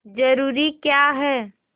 जरूरी क्या है